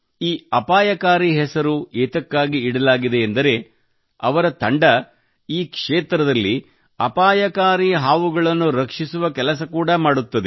ಈ ಅಪಾಯಕಾರಿ ಹೆಸರು ಏತಕ್ಕಾಗಿ ಇಡಲಾಗಿದೆ ಎಂದರೇ ಅವರ ತಂಡವು ಈ ಕ್ಷೇತ್ರದಲ್ಲಿ ಅಪಾಯಕಾರಿ ಹಾವುಗಳನ್ನು ರಕ್ಷಿಸುವ ಕೆಲಸ ಕೂಡಾ ಮಾಡುತ್ತದೆ